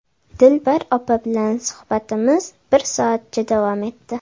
Dilbar opa bilan suhbatimiz bir soatcha davom etdi.